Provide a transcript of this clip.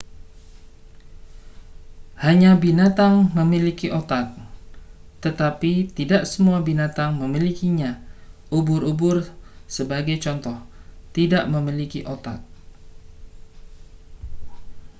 hanya binatang memiliki otak tetapi tidak semua binatang memilikinya; ubur-ubur sebagai contoh tidak memiliki otak